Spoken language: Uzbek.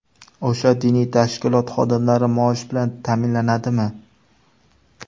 O‘sha diniy tashkilot xodimlari maosh bilan ta’minlanadimi?